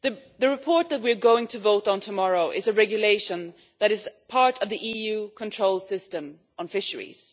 The report that we are going to vote on tomorrow is a regulation that is part of the EU control system on fisheries.